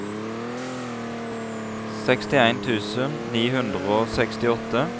sekstien tusen ni hundre og sekstiåtte